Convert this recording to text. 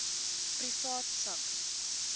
privaat sak